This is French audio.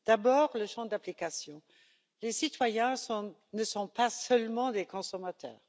D'abord, le champ d'application les citoyens ne sont pas seulement des consommateurs.